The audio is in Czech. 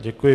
Děkuji.